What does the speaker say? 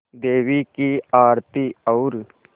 देवी की आरती और